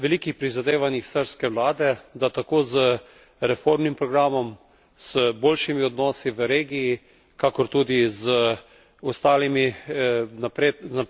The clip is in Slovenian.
Govori o velikih prizadevanjih srbske vlade, da tako z reformnim programom, z boljšimi odnosi v regiji, kakor tudi z ostalimi...